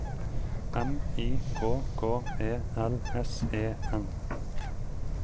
M I K K E L S E N